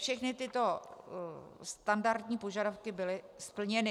Všechny tyto standardní požadavky byly splněny.